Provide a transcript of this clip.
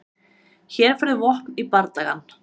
Hér færðu vopn í bardagann.